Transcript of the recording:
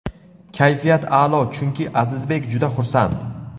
Kayfiyat a’lo chunki Azizbek juda xursand.